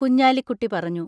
കുഞ്ഞാലിക്കുട്ടി പറഞ്ഞു.